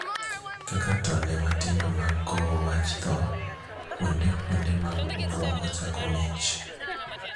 Kaka tonde matindo mag kowo wach thoo, kuonde kuonde mag obuongo chako mich.